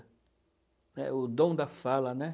É, o dom da fala, né?